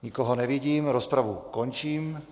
Nikoho nevidím, rozpravu končím.